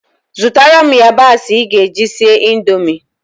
Zụtara m yabasị ị ga-eji sie Indomie